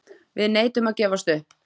Við neitum að gefast upp.